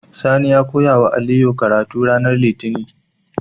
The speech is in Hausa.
Sani ya koyawa aliyu karatu ranar litinin